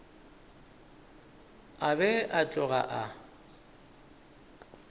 a be a tloga a